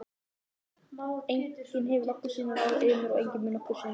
Enginn hefur nokkru sinni ráðið yfir mér og enginn mun nokkru sinni gera það.